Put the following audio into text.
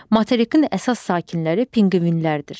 Materikin əsas sakinləri pinqvinlərdir.